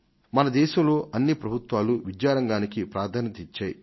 మన దేశంలో ప్రతి ప్రభుత్వం విద్యా రంగానికి ప్రాధాన్యత నిచ్చింది